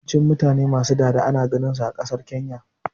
Yawancin mutane ma su dada ana ganin su a ƙasar Kenya ne